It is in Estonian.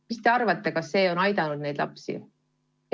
Mis te arvate, kas see on aidanud neid lapsi?